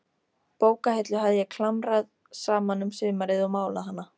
Bókahillu hafði ég klambrað saman um sumarið og málað hana.